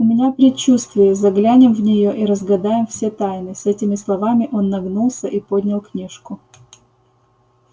у меня предчувствие заглянем в нее и разгадаем все тайны с этими словами он нагнулся и поднял книжку